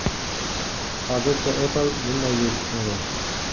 Hozircha Apple bunday yo‘l tutmagan.